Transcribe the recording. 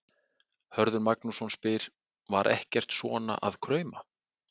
Hörður Magnússon spyr: Var ekkert svona að krauma?